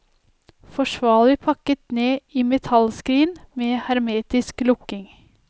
Forsvarlig pakket ned i metallskrin med hermetisk lukking.